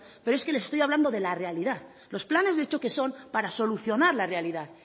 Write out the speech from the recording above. pero es que les estoy hablando de la realidad los planes de choque son para solucionar la realidad